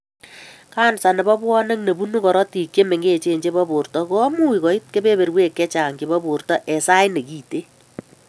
Kansa nebo bwonik nebunuu korotik che mengech chebo borto komuch koit kebeberwek chechang chebo borto en sait nekiten